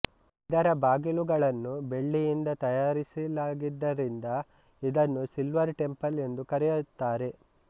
ಇದರ ಬಾಗಿಲುಗಳನ್ನು ಬೆಳ್ಳಿಯಿಂದ ತಯಾರಿಸಿಲಾಗಿದ್ದರಿಂದ ಇದನ್ನು ಸಿಲ್ವರ್ ಟೆಂಪಲ್ ಎಂದೂ ಕರೆಯುತ್ತಾರೆ